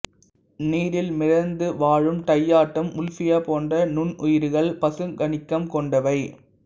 நீரில் மிதந்து வாழும் டையாட்டம் உல்ஃபியா போன்ற நுண்ணுயிர்கள் பசுங்கனிகம் கொண்டவை